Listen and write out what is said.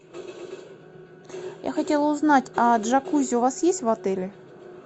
я хотела узнать а джакузи у вас есть в отеле